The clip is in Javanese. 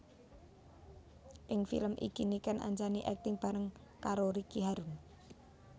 Ing film iki Niken Anjani akting bareng karo Ricky Harun